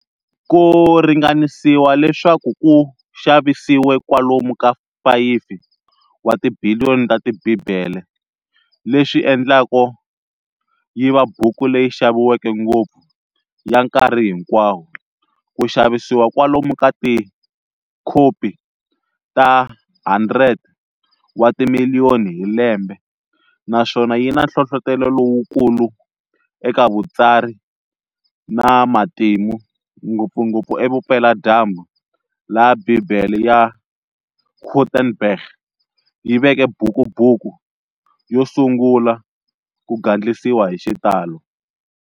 Ku ringanisiwa leswaku ku xavisiwe kwalomu ka 5 wa tibiliyoni ta ti Bibele, leswi endlaka yiva buku leyi xaviweke ngopfu ya nkarhi hinkwawo. ku xavisiwa kwalomu ka tikhopi ta 100 wa timiliyoni hi lembe, naswona yi na nhlohlotelo lowu kulu eka vutsari na matimu, ngopfungopfu e vupela-dyambu laha Bibele ya Gutenberg yi veke buku buku yo sungula ku gandlisiwa hi xitalo.